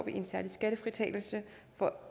en særlig skattefritagelse for